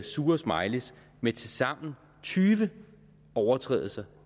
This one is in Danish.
sure smileyes med tilsammen tyve overtrædelser